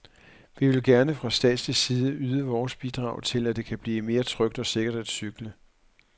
Vi vil gerne fra statslig side yde vores bidrag til, at det kan blive mere trygt og sikkert at cykle.